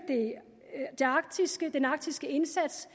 den arktiske indsats